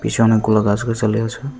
পিছে অনেকগুলো গাছগাছালি আছে।